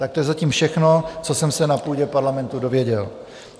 Tak to je zatím všechno, co jsem se na půdě Parlamentu dozvěděl.